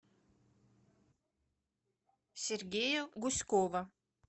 сергея гуськова